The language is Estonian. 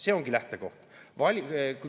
See ongi lähtekoht.